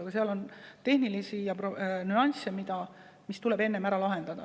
Aga seal on tehnilisi nüansse, mis tuleb enne ära lahendada.